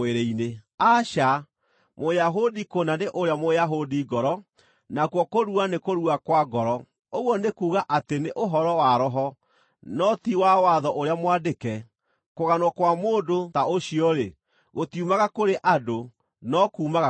Aca, Mũyahudi kũna nĩ ũrĩa Mũyahudi ngoro; nakuo kũrua nĩ kũrua kwa ngoro, ũguo nĩ kuuga atĩ nĩ ũhoro wa Roho, no ti wa watho ũrĩa mwandĩke. Kũganwo kwa mũndũ ta ũcio-rĩ, gũtiumaga kũrĩ andũ, no kuumaga kũrĩ Ngai.